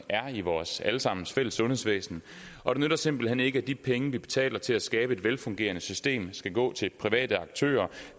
er i vores alle sammens fælles sundhedsvæsen og det nytter simpelt hen ikke at de penge vi betaler til at skabe et velfungerende system skal gå til private aktører